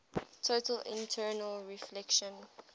total internal reflection